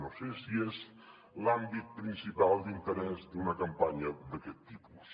no sé si és l’àmbit principal d’interès d’una campanya d’aquest tipus